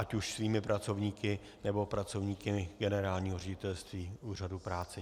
Ať už svými pracovníky, nebo pracovníky generálního ředitelství Úřadu práce.